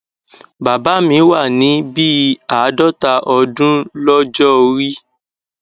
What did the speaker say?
bàbá mi wà ní bí i àádọta ọdún lọjọ orí